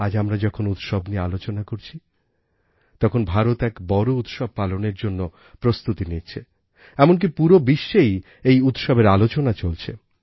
আজ আমরা যখন উৎসব নিয়ে আলোচনা করছি তখন ভারত এক বড়ো উৎসব পালনের জন্য প্রস্তুতি নিচ্ছে এমনকি পুরো বিশ্বেই এই উৎসবের আলোচনা চলছে